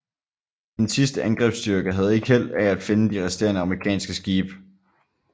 En sidste angrebsstyrke havde ikke held af at finde de resterende amerikanske skibe